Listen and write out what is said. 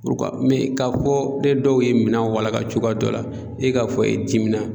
K'a fɔ ne dɔw ye minɛn walaka cogoya dɔ la, e k'a fɔ i dimina